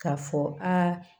K'a fɔ aa